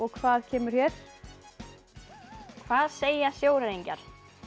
hvað kemur hér hvað segja sjóræningjar